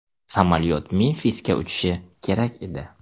Samolyot Memfisga uchishi kerak edi.